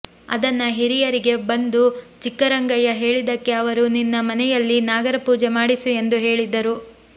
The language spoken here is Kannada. ಅದನ್ನ ಹಿರಿಯರಿಗೆ ಬಂದು ಚಿಕ್ಕರಂಗಯ್ಯ ಹೇಳಿದ್ದಕ್ಕೆ ಅವರು ನಿನ್ನ ಮನೆಯಲ್ಲಿ ನಾಗರ ಪೂಜೆ ಮಾಡಿಸು ಎಂದು ಹೇಳಿದ್ದರು